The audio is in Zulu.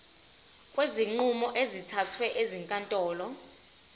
kwezinqumo ezithathwe ezinkantolo